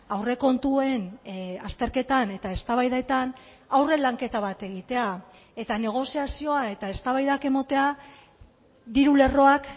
aurrekontuen azterketan eta eztabaidetan aurre lanketa bat egitea eta negoziazioa eta eztabaidak ematea diru lerroak